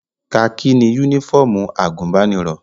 Kakí ni yúnífọ̀mù àgùnbánirọ̀